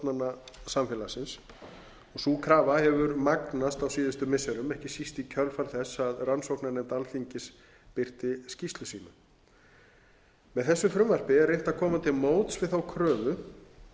samfélagsins og sú krafa hefur magnast á síðustu missirum ekki síst í kjölfar þess að rannsóknarnefnd alþingis birti skýrslu sína með þessu frumvarpi er reynt að koma til móts við þá kröfu